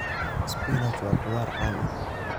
Spinach waa khudrad caan ah.